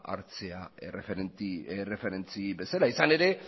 hartzea erreferentzi bezala izan ere